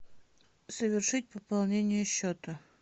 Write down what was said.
совершить пополнение счета